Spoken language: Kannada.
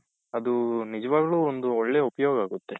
ಅದು ನಿಜವಾಗ್ಲೂ ಒಂದು ಒಳ್ಳೆ ಉಪಯೋಗ ಆಗುತ್ತೆ.